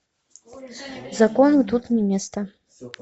закону тут не место